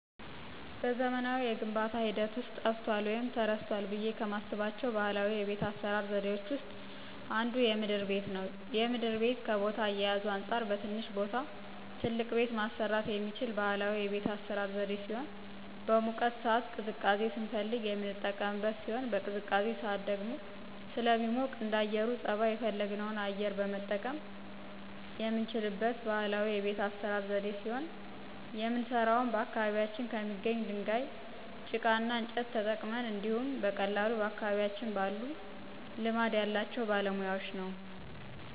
በዘመናዊ የግንባታ ሂደት ውስጥ ጠፍቷል ወይም ተረስቷል ብዬ ከማስባቸው ባህላዊ የቤት አሰራር ዘዴዎች ውስጥ አንዱ የምድር ቤት ነው። የምድር ቤት ከቦታ አያያዙ አንፃር በትንሽ ቦታ ትልቅ ቤት ማሰራት የሚችል ባህላዊ የቤት አሰራር ዘዴ ሲሆን በሙቀት ሳዓት ቅዝቃዜ ስንፈልግ የምንቀመጥበት ሲሆን በቅዝቃዜ ሳዓት ደግሞ ደግሞ ስለሚሞቅ እንደአየሩ ፀባይ የፈለግነውን አየር መጠቀም የምንችልበት ባህላዊ የቤት አሰራር ዘዴ ሲሆን የምንሰራውም በአካባቢያችን ከሚገኝ ድንጋይ፣ ጭቃ እና እንጨት ተጠቅመን እንዲሁኝ በቀላሉ በአካባቢያችን ባሉ ልማድ ያላቸው ባለሙያወች ነው።